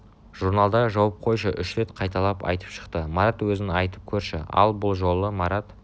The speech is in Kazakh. журналды жауып қойып үш рет қайталап айтып шықты марат өзің айтып көрші ал бұл жолы марат